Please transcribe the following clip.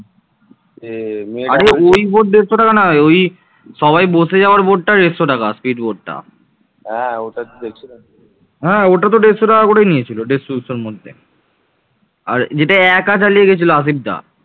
মাটির তৈরি সবচেয়ে বিখ্যাত পোড়ামাটির ফলকগুলো চন্দ্রকেতুগড় থেকে এসেছে এবং তা দেবতা প্রকৃতি ও সাধারণ জীবনের দৃশ্য চিত্রিত করেছে